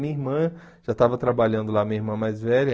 Minha irmã já estava trabalhando lá, minha irmã mais velha.